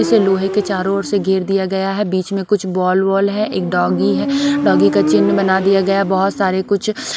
इसे लोहे के चारों ओर से घेर दिया गया है बीच में कुछ बॉल वोल हैं एक डॉगी हैं डॉगी का चिन्ह बना दिया गया बहुत सारे कुछ--